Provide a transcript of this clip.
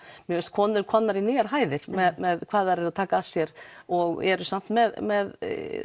mér finnst konur komnar á nýjar hæðir með hvað þær taka að sér og eru samt með með